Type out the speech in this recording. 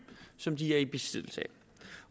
som de er i besiddelse